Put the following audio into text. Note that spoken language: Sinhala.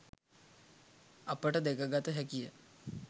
අපට දැකගත හැකිය